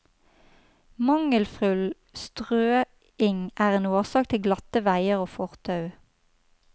Mangelfull strøing er en årsak til glatte veier og fortau.